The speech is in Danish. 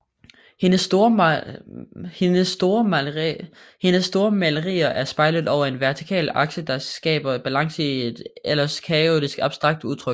Hendes store malerier er spejlet over en vertikal akse der skaber balance i et ellers kaotisk abstrakt udtryk